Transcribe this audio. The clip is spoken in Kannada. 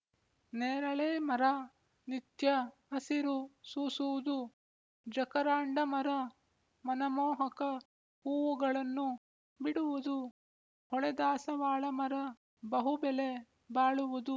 ನೇರಳೆಮರ ನಿತ್ಯ ಹಸಿರು ಸೂಸುವುದು ಜಕರಾಂಡಮರ ಮನಮೋಹಕ ಹೂವುಗಳನ್ನು ಬಿಡುವುದು ಹೊಳೆದಾಸವಾಳಮರ ಬಹುಬೆಲೆ ಬಾಳುವುದು